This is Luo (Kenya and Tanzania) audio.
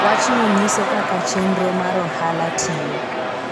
Wachno nyiso kaka chenro mar ohala tiyo.